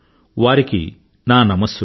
వారికి నా నమస్సులు